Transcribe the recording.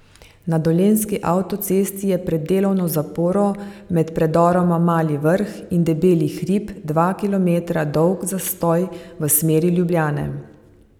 Na dolenjski avtocesti je pred delovno zaporo med predoroma Mali Vrh in debeli Hrib dva kilometra dolg zastoj v smeri Ljubljane.